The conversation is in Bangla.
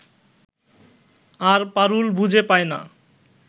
আর পারুল বুঝে পায় না